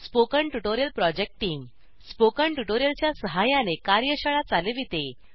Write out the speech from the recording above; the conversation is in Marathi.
spoken tutorial project team spoken tutorial च्या सहाय्याने कार्यशाळा चालविते